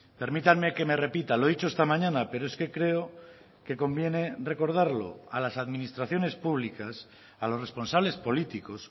permítanme que me repita lo he dicho esta mañana pero es que creo que conviene recordarlo a las administraciones públicas a los responsables políticos